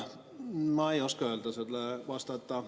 Ma ei oska sellele vastata.